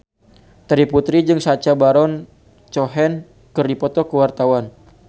Terry Putri jeung Sacha Baron Cohen keur dipoto ku wartawan